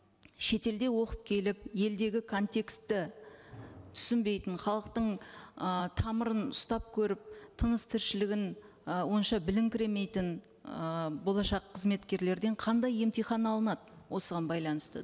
шетелде оқып келіп елдегі контекстті түсінбейтін халықтың ы тамырын ұстап көріп тыныс тіршілігін ы онша білінкіремейтін ы болашақ қызметкерлерден қандай емтихан алынады осыған байланысты